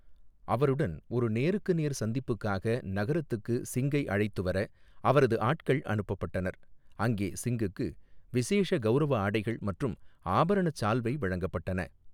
அவருடன் ஒரு நேருக்கு நேர் சந்திப்புக்காக நகரத்துக்கு சிங்கை அழைத்து வர அவரது ஆட்கள் அனுப்பப்பட்டனர், அங்கே சிங்குக்கு 'விசேஷ கௌரவ ஆடைகள்' மற்றும் ஆபரணச் சால்வை வழங்கப்பட்டன.